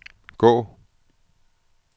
gå